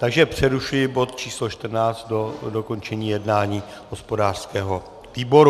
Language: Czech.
Takže přerušuji bod číslo 14 do dokončení jednání hospodářského výboru.